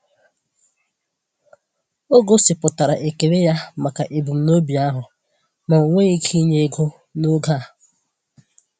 O gosipụtara ekele ya maka ebumnobi ahụ, ma o nweghị ike inye ego n’oge a.